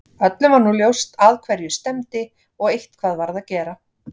Öllum var nú ljóst að hverju stefndi og eitthvað varð að gera.